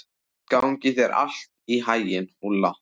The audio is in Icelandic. Gangi þér allt í haginn, Úlla.